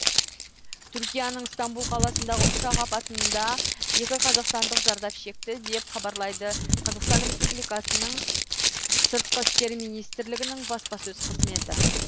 түркияның стамбул қаласындағы ұшақ апатында екі қазақстандық зардап шекті деп хабарлайды қазақстан республикасының сыртқы істер министрлігінің баспасөз қызметі